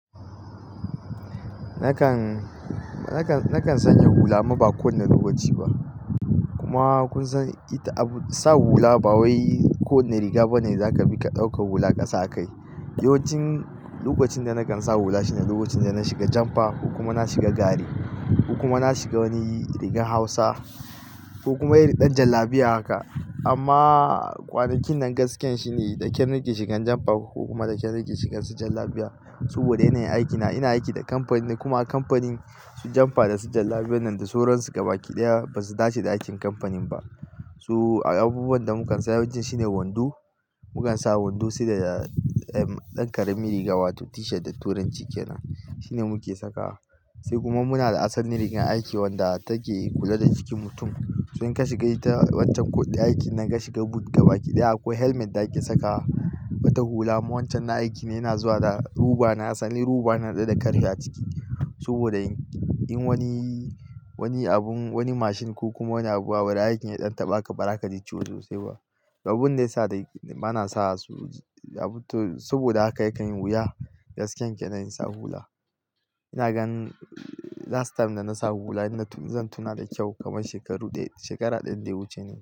Nakan, nakan, nakan sanya hula amma ba kowane lokaci ba. Kuma kun san ita abu sa hula ba wai ko wane riga ba ne zaka bi ka ɗauka hula ka sa a kai. Yawancin lokacin da nakan sa hula shine lokacin da na shiga jampa, ko kuma na shiga gari, ko kuma na shiga wani rigan Hausa, ko kuma iri ɗan jan labiya haka. Amma kwanakin nan gaskiyan shi ne, da kyal nake shigan jampa ko kuma da kyal nake shigan su jal labiya. Saboda yana yin aikina, ina aiki da kamfani kuma kamfanin su jampa da su jan labiyan nan da suran su gaba kiɗaya ba su dace da aikin kamfanin ba. Su abubuwan da mu kan sa yawanci shine wando. Mu kan sa wando sai da ɗan karamin riga wato tishat da turan cikina. Shine muke saka wa. Sai kuma muna da asalin rigar aiki wanda take kula da jikin mutum. Tun ka shiga ita wancan koɗi aiki nan ka shiga but gaba kiɗaya akwai helmet za a ke sakawa ba ta hula. Amma wancan na aiki na yana zuwa da ruba. Na sani ruba na haɗe da karfe a ciki saboda in wani, wani abun, wani mashin ko kuma wani abu a wurin aiki ya ɗan taɓa ka ba za ka ji ciwo sosai ba. Abunda ya sa dai bana sa su, saboda haka yakan yi wuya gaskiyan ke nan ikn sa hula. Ina gan last time da na sa hula ina zan tuna da kyau kamar shekaru dai, shekara ɗaya da hudu ce ne.